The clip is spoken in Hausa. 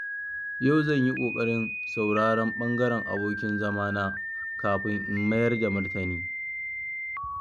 Yau zan yi ƙoƙarin sauraron ɓangaren abokin zamana kafin in mayar da martani.